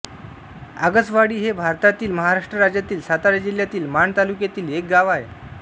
आगसवाडी हे भारतातील महाराष्ट्र राज्यातील सातारा जिल्ह्यातील माण तालुक्यातील एक गाव आहे